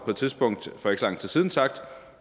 på et tidspunkt for ikke så lang tid siden sagt